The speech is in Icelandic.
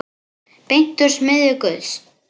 Beint úr smiðju Guðs.